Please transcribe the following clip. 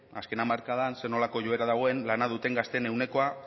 azken hamarkadan zer nolako joera dagoen lana duten gazteen ehunekoa